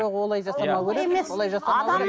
жоқ олай жасамау керек олай жасамау керек